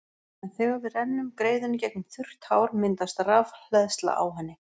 En þegar við rennum greiðunni gegnum þurrt hár myndast rafhleðsla á henni.